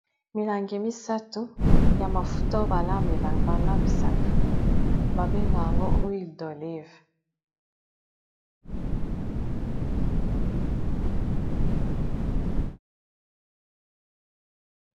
milangi misato ya mafuta oyo balambisaka babengaka yango oile dolive